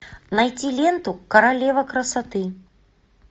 найти ленту королева красоты